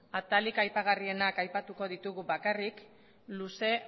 atalik aipagarrienak aipatuko ditugu bakarrik luze